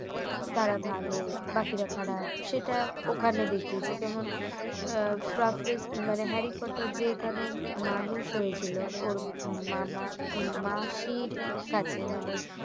তারা ভালো বাকিরা খারাপ সেটা ওখানে দেখিয়েছে কেমন প্রফে~ হ্যারি পটার যেখানে মানুষ হয়েছিল ওর মামা মাসির কাছে মানে